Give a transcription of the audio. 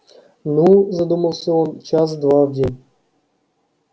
ну задумался он час-два в день